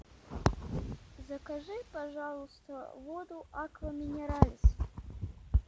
закажи пожалуйста воду аква минерале